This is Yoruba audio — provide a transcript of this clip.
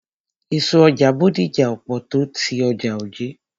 Èso ọjà Bódìjà ò pọ̀ tó ọjà Ojé.